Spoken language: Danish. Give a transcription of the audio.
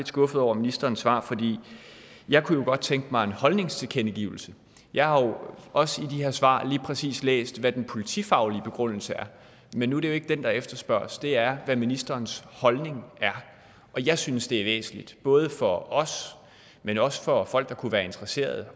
skuffet over ministerens svar for jeg kunne jo godt tænke mig en holdningstilkendegivelse jeg har jo også i de her svar lige præcis læst hvad den politifaglige begrundelse er men nu er det jo ikke den der efterspørges det er hvad ministerens holdning er jeg synes det er væsentligt både for os men også for folk der kunne være interesseret